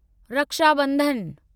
Rakshabandhan